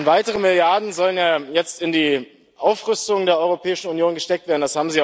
Weitere Milliarden sollen ja jetzt in die Aufrüstung der Europäischen Union gesteckt werden.